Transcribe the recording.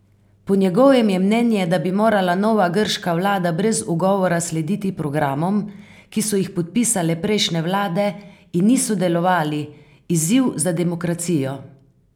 Po njegovem je mnenje, da bi morala nova grška vlada brez ugovora slediti programom, ki so jih podpisale prejšnje vlade in niso delovali, izziv za demokracijo.